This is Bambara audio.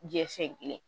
Jɛfen kelen